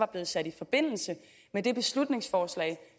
blevet sat i forbindelse med det beslutningsforslag